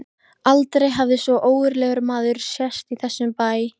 Þessir þrír auðnuleysingjar sitja þarna á veggnum.